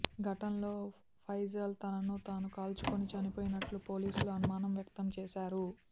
ఘటనలో ఫైజల్ తనను తాను కాల్చుకొని చనిపోయినట్లు పోలీసులు అనుమానం వ్యక్తం చేశారు